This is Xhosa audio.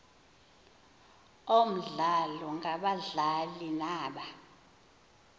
omdlalo ngabadlali naba